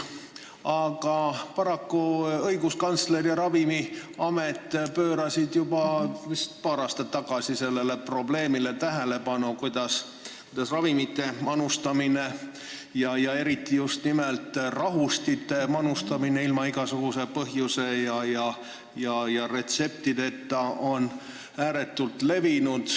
Paraku aga pöörasid õiguskantsler ja Ravimiamet vist juba paar aastat tagasi tähelepanu sellele probleemile, kuidas ravimite, eriti rahustite manustamine ilma igasuguse põhjuse ja retseptita on ääretult levinud.